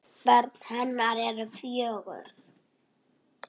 Börn hennar eru fjögur.